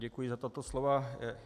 Děkuji za tato slova.